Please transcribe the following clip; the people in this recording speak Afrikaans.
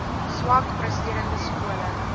swak presterende skole